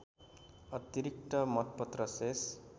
अतिरिक्त मतपत्र शेष